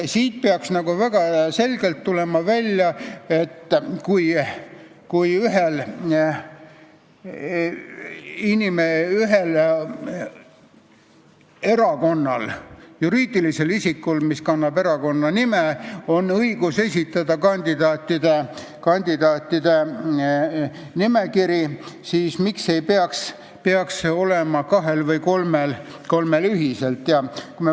Siit peaks väga selgelt tulema välja, et kui ühel erakonnal, juriidilisel isikul, mis kannab erakonna nime, on õigus esitada kandidaatide nimekiri, siis miks ei peaks seda õigust olema kahel või kolmel erakonnal ühiselt.